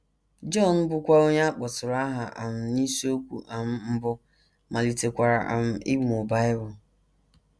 John, bụ́kwa onye a kpọtụrụ aha um n’isiokwu um mbụ, malitekwara um ịmụ Bible.